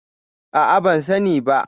A'a, ban sani ba.